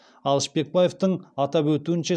ал шпекбаевтың атап өтуінше